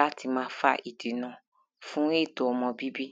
láti má fa ìdènà fún ètò ọmọ bíbí.